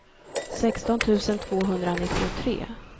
sexton tusen tvåhundranittiotre